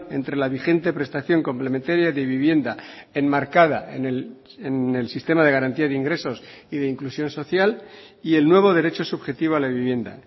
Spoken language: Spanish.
entre la vigente prestación complementaria de vivienda enmarcada en el sistema de garantía de ingresos y de inclusión social y el nuevo derecho subjetivo a la vivienda